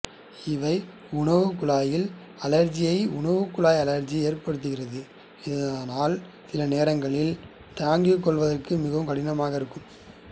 இவை உணவுக்குழாயில் அழற்சியை உணவுக்குழாய் அழற்சி ஏற்படுத்துகிறது அதனால் சிலநேரங்களில் தாங்கிக்கொள்வதற்கு மிகவும் கடினமாக இருக்கும்